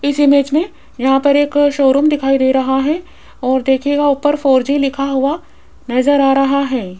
इस इमेज में यहां पर एक शोरूम दिखाई दे रहा है और देखिएगा ऊपर फोर जी लिखा हुआ नजर आ रहा है।